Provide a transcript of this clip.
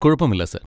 കുഴപ്പമില്ല സാർ.